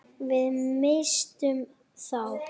Við misstum þá.